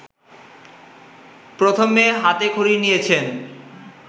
প্রথমে হাতে খড়ি নিয়েছেন